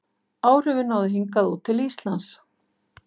áhrifin náðu hingað út til íslands